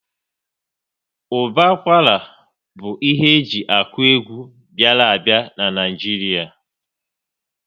Ụbọ akwara bụ ihe eji akụ egwu bịara a bịa n'Naijiria